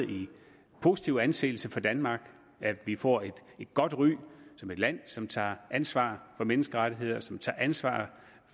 positiv anseelse for danmark vi får et godt ry som et land som tager ansvar for menneskerettighederne som tager ansvar